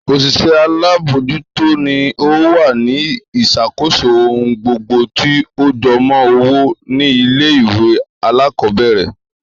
Òṣìṣẹ́ alábòójútó ni ó wà ní ìṣàkóso ohun gbogbo tí ó jọmọ́ owó ní ilé ìwé alákọ̀ọ́bẹ̀rẹ̀